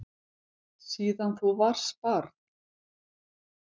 Síðan þú varst barn.